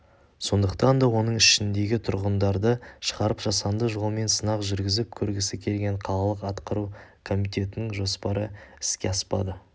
сондықтан да оның ішіндегі тұрғындарды шығарып жасанды жолмен сынақ жүргізіп көргісі келген қалалық атқару комитетінің жоспары іске аспады